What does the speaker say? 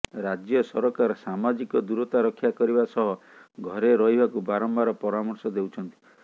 ରାଜ୍ୟ ସରକାର ସାମାଜିକ ଦୂରତା ରକ୍ଷା କରିବା ସହ ଘରେ ରହିବାକୁ ବାରମ୍ବାର ପରାମର୍ଶ ଦେଉଛନ୍ତି